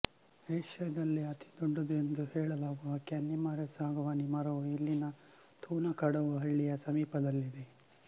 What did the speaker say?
ಏಷ್ಯಾದಲ್ಲೇ ಅತಿದೊಡ್ಡದು ಎಂದು ಹೇಳಲಾಗುವ ಕ್ಯಾನ್ನಿಮರೆ ಸಾಗವಾನಿ ಮರ ವು ಇಲ್ಲಿನ ಥೂನಕಡವು ಹಳ್ಳಿಯ ಸಮೀಪದಲ್ಲಿದೆ